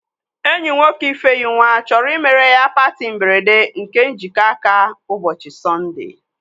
Enyi nwoke Ifenyinwa chọrọ imere ya patị mberede nke njikọ aka ụbọchị Sọnde